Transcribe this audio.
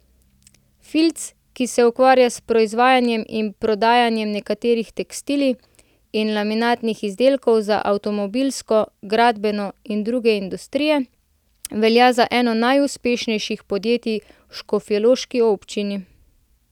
Filc, ki se ukvarja s proizvajanjem in prodajanjem netkanih tekstilij in laminiranih izdelkov za avtomobilsko, gradbeno in druge industrije, velja za eno najuspešnejših podjetij v škofjeloški občini.